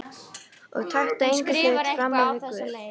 Og taktu engan hlut frammyfir Guð.